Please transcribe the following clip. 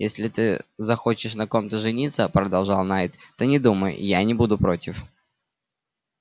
если ты захочешь на ком-то жениться продолжал найд то не думай я не буду против